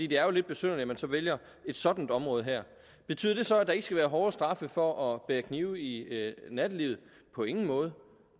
det er jo lidt besynderligt at man så vælger et sådant område her betyder det så at der ikke skal være hårde straffe for at bære kniv i nattelivet på ingen måde